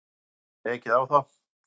Það var ekið á þá.